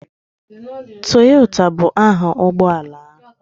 Toyota bụ aha ụgbọ ala.